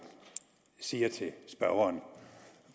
siger til spørgeren